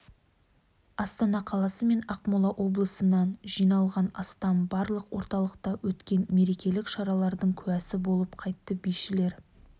астана қаласы мен ақмола облысынан жиналған астам балғын орталықта өткен мерекелік шаралардың куәсі болып қайтты бишілер